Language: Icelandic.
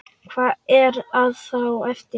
Hvað er þá eftir?